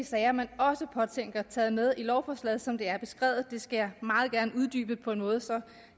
sager man også påtænker taget med i lovforslaget som det er beskrevet det skal jeg meget gerne uddybe på en måde som